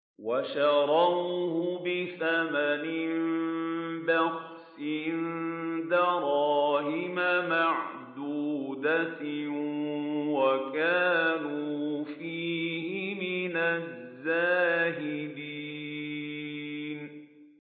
وَشَرَوْهُ بِثَمَنٍ بَخْسٍ دَرَاهِمَ مَعْدُودَةٍ وَكَانُوا فِيهِ مِنَ الزَّاهِدِينَ